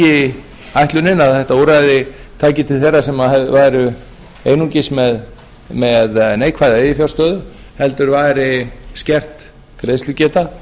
ekki ætlunin að þetta úrræði tæki til þeirra sem væru einungis með neikvæða eiginfjárstöðu heldur væri skert greiðslugeta